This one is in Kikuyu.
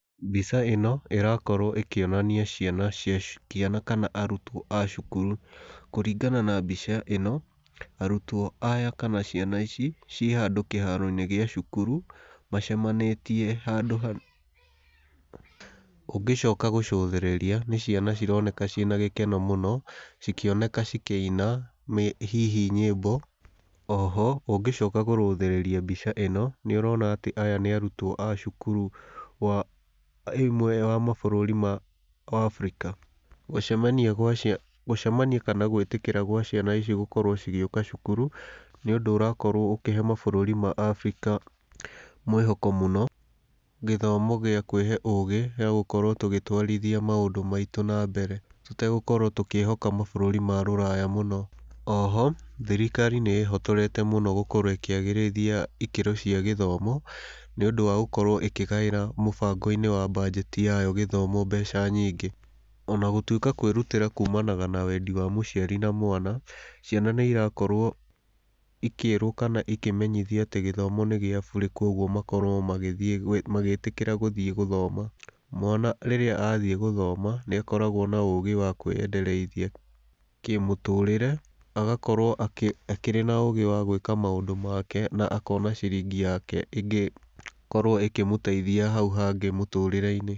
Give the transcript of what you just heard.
Mbica ĩno ĩrakorwo ĩkĩonania ciana ciana kana arutwo a cukuru, kũringana na mbica ĩno, arutwo aya kana ciana ici, ciĩ handũ kĩharo-inĩ gĩa cukuru, macemanĩtie handũ ha ũngĩcoka gũcũthĩrĩria, nĩ ciana cironeka ciĩ na gĩkeno mũno, cikĩoneka cikiina hihi nyĩmbo, oho, ũngĩcoka kũrũthĩrĩria mbica ĩno, nĩ ũrona atĩ aya nĩ arutwo a cukuru wa ĩmwe wa mabũrũri ma Africa, gũcemania gwa ciana gũcemania kana gwĩtĩkĩra gwa ciana ici gũkorwo cigĩũka cukuru, nĩũndũ ũrakorwo ũkĩhe mabũrũri ma Afrika mwĩhoko mũno, gĩthomo gĩa kwĩhe ũgĩ, gĩagũkorwo tũgĩtwarithia maũndũ maitũ na mbere, tũtagũkorwo tũkĩhoka mabũrũri ma rũraya mũno. Oho, thirikari nĩ ĩhotorete mũno gũkorwo ĩkĩagĩrithia ihoto cia gĩthomo, nĩũndũ wa gũkorwo ĩkĩgaĩra mũbango-inĩ wa mbanjeti yao gĩthomo mbeca nyingĩ, ona gũtwĩka kwĩrutĩra kuumanaga na wendi wa mũciari na mwana, ciana nĩ irakorwo ikĩĩrwo kana ikĩmenyithio atĩ gĩthomo nĩ gĩa burĩ koguo makorwo magĩthiĩ magĩtĩkĩra gũthiĩ gũthoma. Mwana rĩrĩa athiĩ gũthoma nĩ akoragwo na ũgĩ wa kwĩyendereithia kĩmũtũrĩre, agakorwo akĩ akĩrĩ na ũgĩ wa gwĩka maũndũ make na akona ciringi yake ĩngĩkorwo ĩkĩmũteithia hau hangĩ mũtũrĩre-inĩ.